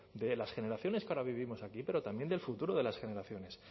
de las generaciones que ahora vivimos aquí pero también del futuro de las generaciones